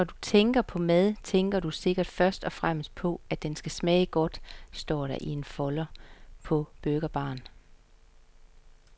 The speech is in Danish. Når du tænker på mad, tænker du sikkert først og fremmest på, at den skal smage godt, står der i en folder på burgerbaren.